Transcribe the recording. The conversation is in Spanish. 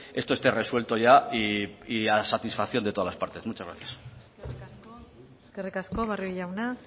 esto esté resuelto ya y a satisfacción de todas las partes muchas gracias eskerrik asko barrio jauna